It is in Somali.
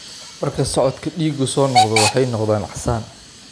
Marka socodka dhiiggu soo noqdo, waxay noqdaan casaan.